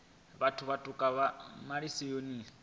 nga vhathu vhaṱuku vhe malisoni